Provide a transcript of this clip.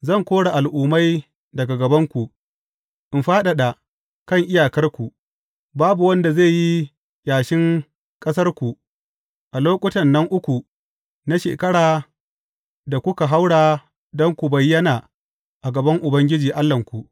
Zan kore al’umma daga gabanku, in fadada kan iyakarku, babu wanda zai yi ƙyashin ƙasarku a lokutan nan uku na shekara da kuka haura don ku bayyana a gaban Ubangiji, Allahnku.